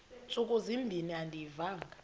ntsuku zimbin andiyivanga